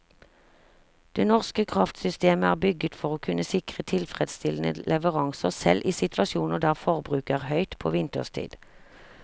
Det norske kraftsystemet er bygget for å kunne sikre tilfredsstillende leveranser selv i situasjoner der forbruket er høyt på vinterstid.